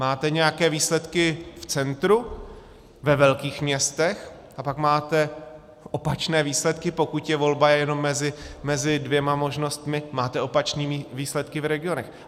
Máte nějaké výsledky v centru, ve velkých městech, a pak máte opačné výsledky, pokud je volba jenom mezi dvěma možnostmi, máte opačné výsledky v regionech.